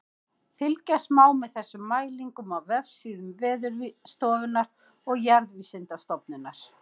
Fylgjast má með þessum mælingum á vefsíðum Veðurstofunnar og Jarðvísindastofnunar.